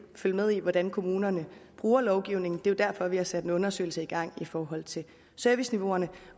følge med i hvordan kommunerne bruger lovgivningen det er jo derfor vi har sat en undersøgelse i gang i forhold til serviceniveauet